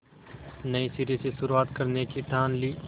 नए सिरे से शुरुआत करने की ठान ली